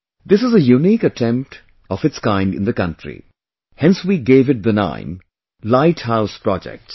This is a unique attempt of its kind in the country; hence we gave it the name Light House Projects